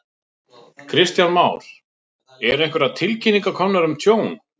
Kristján Már: Eru einhverjar tilkynningar komnar um tjón?